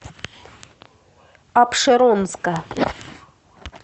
апшеронска